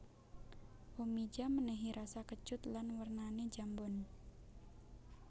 Omija menehi rasa kecut lan wernane njambon